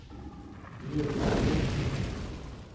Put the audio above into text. Göte Ståhl